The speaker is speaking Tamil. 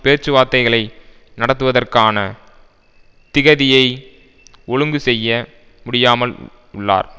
பேச்சுவார்த்தைகளை நடத்துவதற்கான திகதியை ஒழுங்கு செய்ய முடியாமல் உள்ளார்